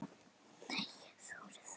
Nei, ég þori það ekki.